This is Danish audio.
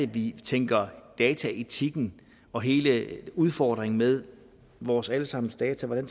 vi tænker dataetikken og hele udfordringen med vores alle sammens data ind